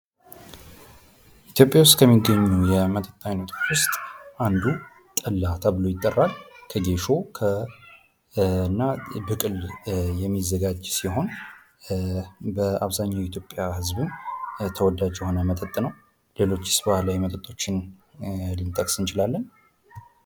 ኢትዮጵያ ውስጥ ከሚገኙ የመጠጥ አይነቶች ውስጥ አንዱ ጠላ ተብሎ ይጠራል። ከጌሾ እና ብቅል የሚዘጋጅ ሲሆን በአብዛኛው የኢትዮጵያ ህዝብም ተወዳጅ የሆነ መጠጥ ነው። ሌሎችስ ባህላዊ መጠጦችን ልንጠቀስ እንችላለን?